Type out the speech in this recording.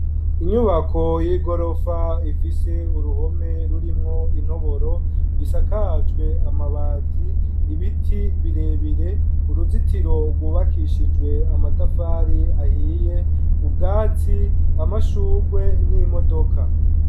Inyubako y'igorofa ifise uruhome rurimwo intoboro isakajwe amabati, ibiti birebire ,uruzitiro rwubakishijwe amatafari ahiye ,ubwatsi ,amashugwe n'imodoka.